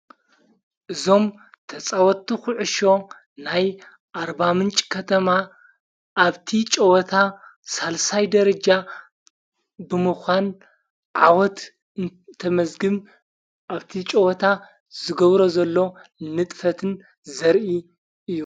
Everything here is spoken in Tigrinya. እዞም ተፃወቱ ዂዑሾ ናይ ኣርባ ምንፂ ከተማ ኣብቲ ጨወታ ሣልሳይ ደረጃ ብምዃን ዓወት እተመዘግም ኣብቲ ጨወታ ዝገብሮ ዘሎ ንጥፈትን ዘርኢ እዩ።